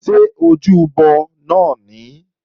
Ṣé ojúbọ náà nìí?